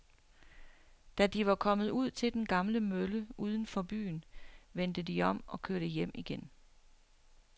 Da de var kommet ud til den gamle mølle uden for byen, vendte de om og kørte hjem igen.